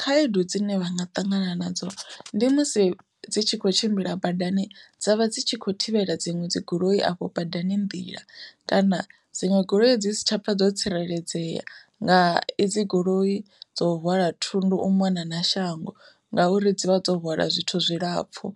Khaedu dzine vha nga ṱangana nadzo ndi musi dzi tshi kho tshimbila badani dzavha dzi tshi kho thivhela dziṅwe dzi goloi afho badani nḓila, kana dziṅwe goloi dzi si tsha pfha dzo tsireledzea nga idzi goloi dzo hwala thundu u mona na shango ngauri dzi vha dzo hwala zwithu zwilapfhu.